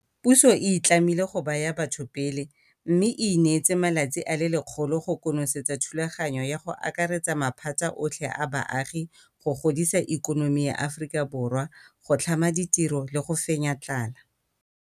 Puso e itlamile go baya batho pele, mme e ineetse malatsi a le 100 go konosetsa thulaganyo ya go akaretsa maphata otlhe a baagi go godisa ikonomi ya Aforika Borwa, go tlhama ditiro le go fenya tlala.